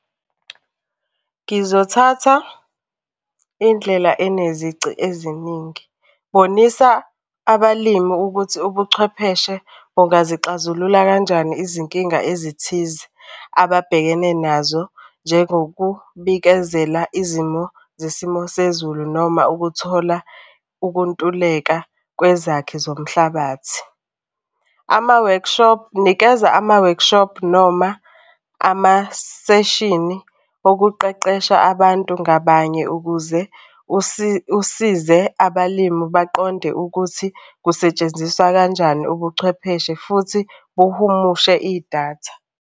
Ngizothatha indlela enezici eziningi. Bonisa abalimi ukuthi ubuchwepheshe bungazixazulula kanjani izinkinga ezithize ababhekene nazo njengokubikezela izimo zesimo sezulu noma ukuthola ukuntuleka kwezakhi zomhlabathi. Ama-workshop, nikeza ama-workshop noma amaseshini okuqeqesha abantu ngabanye ukuze usize abalimu baqonde ukuthi kusetshenziswa kanjani ubuchwepheshe futhi buhumushe idatha.